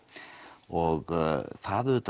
og það